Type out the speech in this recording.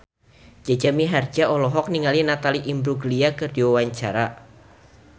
Jaja Mihardja olohok ningali Natalie Imbruglia keur diwawancara